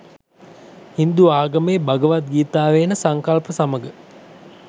හින්දු ආගමේ භගවත් ගීතාවේ එන සංකල්ප සමග